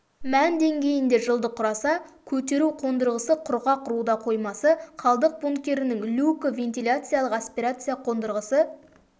мән деңгейінде жылды құраса көтеру қондырғысы құрғақ руда қоймасы қалдық бункерінің люкі вентиляциялық аспирация қондырғысы